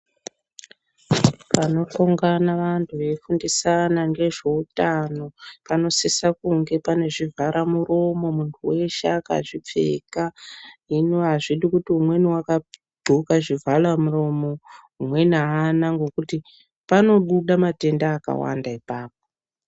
Panoungana vanthu veifundisana ngezveutano panosisa kunge pane zvibhara muromo munthu weshe akazvipfeka hino azvidi kuti umweni wakagqoka zvivhalamuromo umweni aana ngokuti panobuda matenda akwanda .